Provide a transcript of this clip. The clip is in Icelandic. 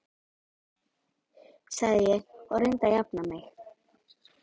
sagði ég og reyndi að jafna mig.